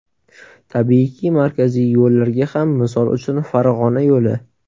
Tabiiyki, markaziy yo‘llarga ham, misol uchun, Farg‘ona yo‘li.